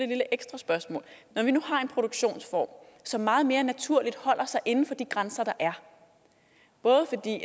her ekstra spørgsmål når vi nu har en produktionsform som meget mere naturligt holder sig inden for de grænser der er både fordi